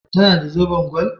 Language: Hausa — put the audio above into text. Ta na da zoben gwal?